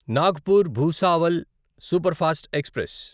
Nagpur Bhusawal superfast express